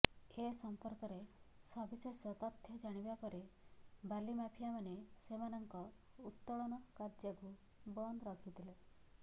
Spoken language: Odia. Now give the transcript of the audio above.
ଏ ସଂପର୍କରେ ସବିଶେଷ ତଥ୍ୟ ଜଣାଯିବାପରେ ବାଲିମାଫିଆମାନେ ସେମାନଙ୍କ ଉତ୍ତୋଳନ କାର୍ଯ୍ୟକୁ ବନ୍ଦ ରଖିଥିଲେ